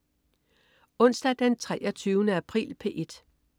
Onsdag den 23. april - P1: